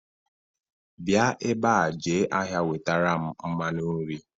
bia ebea je ahia wetaram mmanu nri